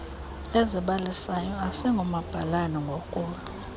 ezibalisayo asingomabalana ngokolu